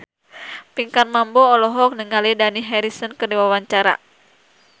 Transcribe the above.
Pinkan Mambo olohok ningali Dani Harrison keur diwawancara